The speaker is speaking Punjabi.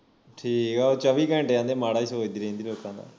ਠੀਕ ਆ ਉਹ ਚੌਵੀ ਘੰਟੇ ਆਂਦੇ ਮਾੜਾ ਹੀ ਸੋਚਦੀ ਰਹਿੰਦੀ ਲੋਕਾਂ ਦਾ